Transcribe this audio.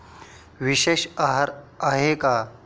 विशेष आहार आहे का?